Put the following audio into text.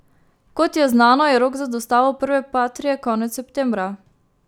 Kot je znano, je rok za dostavo prve patrie konec septembra.